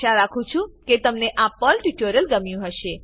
આશા રાખું છું કે તમને આ પર્લ ટ્યુટોરીયલ ગમ્યું હશે